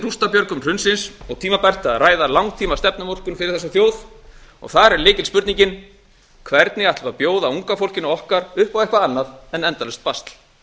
rústabjörgun hrunsins og tímabært að ræða langtímastefnumótun fyrir þessa þjóð þar er lykilspurningin hvernig ætlum við að bjóða unga fólkinu okkar upp á eitthvað annað en endalaust basl